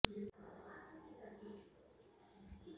अभ्यास के दौरान भारतीय बल्लेबाज मुरली विजय और केएल राहुल